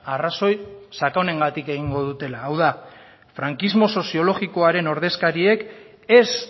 arrazoi sakonengatik egingo dutela hau da frankismo soziologikoaren ordezkariek ez